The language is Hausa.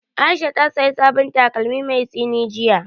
Aisha ta saya sabon takalmi mai tsini jiya